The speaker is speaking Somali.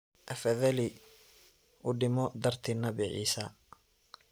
Afadhali uudimo darti nabii Issa.